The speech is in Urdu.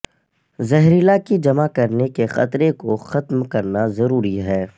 زہریلا کی جمع کرنے کے خطرے کو ختم کرنا ضروری ہے